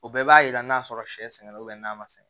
O bɛɛ b'a yira n'a sɔrɔ sɛgɛn na n'a ma sɛnɛ